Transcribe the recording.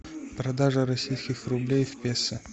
продажа российских рублей в песо